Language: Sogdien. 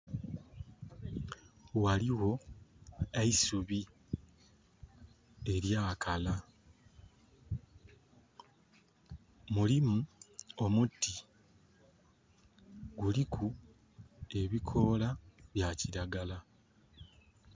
Ghaligho eisubi elya kala. Mulimu omuti, guliku ebikoola bya kiragala.